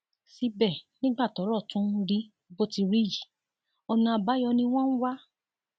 síbẹ nígbà tọrọ tún rí bó ti rí yìí ọnà àbáyọ ni wọn ń wá